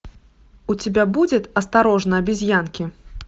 у тебя будет осторожно обезьянки